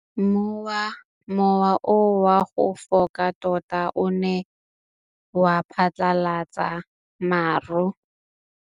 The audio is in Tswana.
Mowa o wa go foka tota o ne wa phatlalatsa maru.